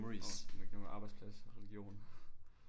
Åh du må ikke nævne arbejdsplads og religion